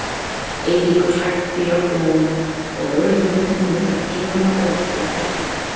Eiríkur hrækti í áttina að honum og lögregluþjónninn mundaði kylfuna og ætlaði að berja hann.